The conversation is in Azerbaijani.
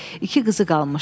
İki qızı qalmışdı.